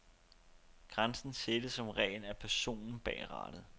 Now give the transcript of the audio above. Grænsen sættes som regel af personen bag rattet.